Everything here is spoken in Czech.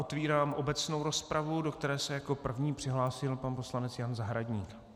Otvírám obecnou rozpravu, do které se jako první přihlásil pan poslanec Josef Zahradník.